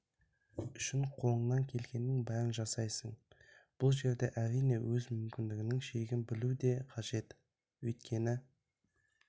үшін қолынан келгеннің бәрін жасайсын бұл жерде әрине өз мүмкіндігінің шегін білу де қажет өйткені